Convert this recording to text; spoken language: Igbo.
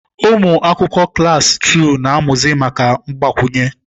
Ụmụ akwụkwọ klaasị tuu na-amụzi maka mgbakwunye.